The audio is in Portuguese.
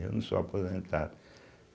Eu não sou aposentado.